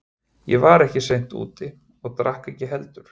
Ég var ekki seint úti og drakk ekki heldur.